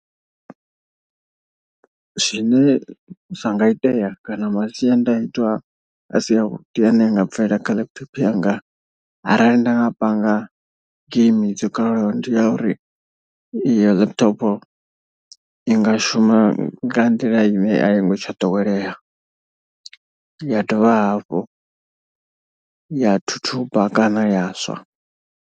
Zwine zwa nga itea kana masiandaitwa a si avhuḓi ane anga bvelela kha laptop yanga. Arali nda nga panga geimi dzo kalulaho ndi ya uri iyo laptop i nga shuma nga nḓila ine a i ngo tsha ḓowelea. Ya dovha hafhu ya thuthuba kana ya swa.